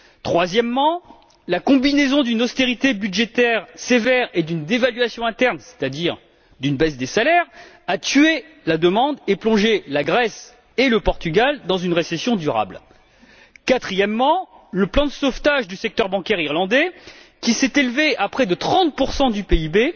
Troisièmement, la combinaison d'une austérité budgétaire sévère et d'une dévaluation interne, c'est à dire d'une baisse des salaires, a tué la demande et plongé la Grèce et le Portugal dans une récession durable. Quatrièmement, le plan de sauvetage du secteur bancaire irlandais, qui s'est élevé à près de 30 du